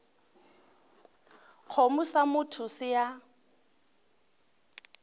kgomo sa motho se a